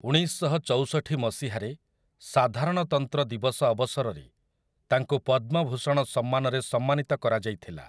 ଉଣେଇଶଶହଚଉଷଠି ମସିହାରେ, ସାଧାରଣତନ୍ତ୍ର ଦିବସ ଅବସରରେ, ତାଙ୍କୁ ପଦ୍ମଭୂଷଣ ସମ୍ମାନରେ ସମ୍ମାନିତ କରାଯାଇଥିଲା ।